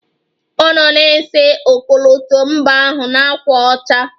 Ọ nọ na-ese ọkọlọtọ mba ahụ na ákwà ọcha